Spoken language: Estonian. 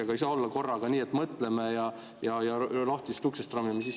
Aga ei saa olla korraga nii, et mõtleme ja lahtisest uksest sisse rammime.